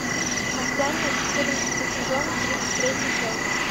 масяня четырнадцатый сезон тридцать третья часть